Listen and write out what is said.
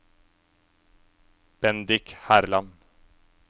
Bendik Herland